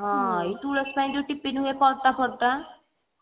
ହଁ ତୁଲସୀ ପାଇଁ ଯୋଉ tiffin ହୁଏ ପରଠା ଫରଟା